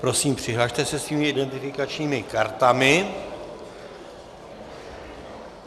Prosím přihlaste se svými identifikačními kartami.